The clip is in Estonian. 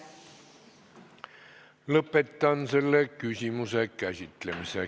Lõpetan selle küsimuse käsitlemise.